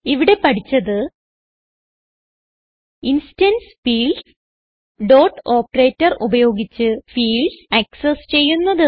ഇവിടെ പഠിച്ചത് instance fields dot operator ഉപയോഗിച്ച് ഫീൽഡ്സ് ആക്സസ് ചെയ്യുന്നത്